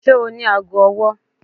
Ṣe o ni aago ọwọ?